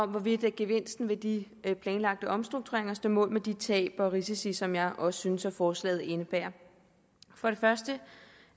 hvorvidt gevinsten ved de planlagte omstruktureringer står mål med de tab og risici som jeg også synes at forslaget indebærer for det første